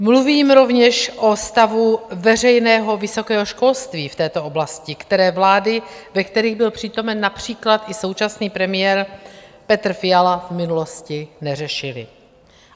Mluvím rovněž o stavu veřejného vysokého školství v této oblasti, které vlády, ve kterých byl přítomen například i současný premiér Petr Fiala, v minulosti neřešily.